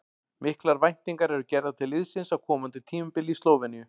Miklar væntingar eru gerðar til liðsins á komandi tímabili í Slóveníu.